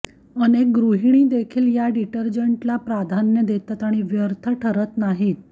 अनेक गृहिणीदेखील या डिटर्जन्टला प्राधान्य देतात आणि व्यर्थ ठरत नाहीत